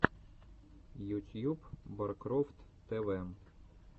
ютьюб баркрофт тэ вэ